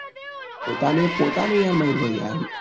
પોતાને પોતાનું યાર મયાર હોય યાર